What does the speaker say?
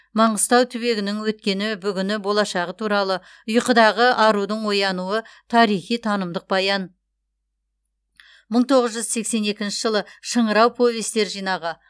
маңғыстау түбегінің өткені бүгіні болашағы туралы ұйқыдағы арудың оянуы тарихи танымдық баян мың тоғыз жүз сексен екінші жылы шыңырау повестер жинағы